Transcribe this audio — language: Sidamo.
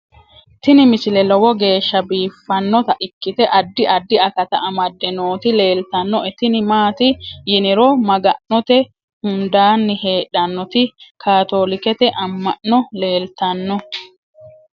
tini misile lowo geeshsha biiffannota ikkite addi addi akata amadde nooti leeltannoe tini maati yiniro maga'note hundaanni heedhannoti kaatoolikete amma'no leeltanno